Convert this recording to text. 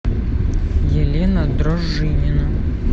елена дружинина